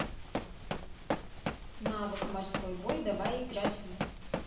навык морской бой давай играть в